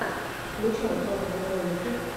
включай топовые ролики